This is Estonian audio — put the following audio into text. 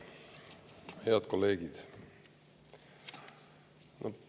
Head kolleegid!